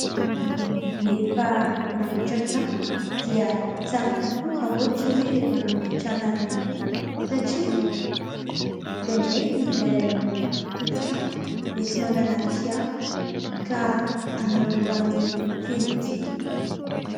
Rehefa manamboatra trano, dia tsara kokoa raha ohatra hoe manamboatra làlana ihany koa, satria indraindray ilay tompon-trano mety manana fiara, ka hanamora ny fodiany.